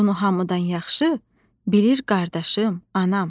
Bunu hamıdan yaxşı bilir qardaşım, anam.